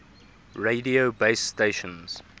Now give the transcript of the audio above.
radio base stations